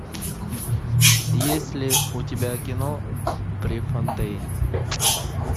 есть ли у тебя кино префонтейн